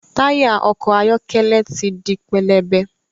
Taya ọkọ ayọkẹlẹ tí dì pẹlẹbẹ